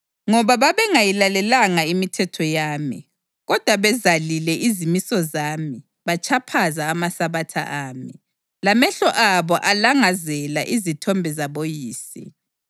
ngoba babengayilalelanga imithetho yami kodwa bezalile izimiso zami batshaphaza amaSabatha ami, lamehlo abo alangazela izithombe zaboyise.